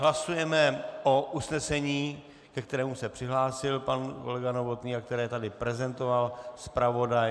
Hlasujeme o usnesení, ke kterému se přihlásil pan kolega Novotný a které tady prezentoval zpravodaj.